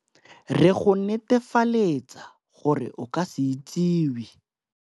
Re go netefaletsa gore o ka se itsiwe.